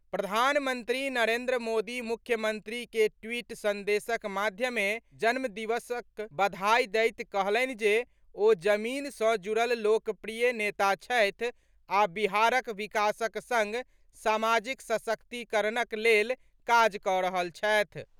प्रधानमंत्री नरेन्द्र मोदी मुख्यमंत्री के ट्वीट संदेशक माध्यमे जन्मदिवसक बधाई दैत कहलनि जे ओ जमीन सॅ जुड़ल लोकप्रिय नेता छथि आ बिहारक विकासक संग सामाजिक सशक्तिकरणक लेल काज कऽ रहल छथि।